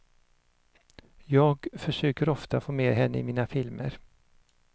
Jag försöker ofta få med henne i mina filmer.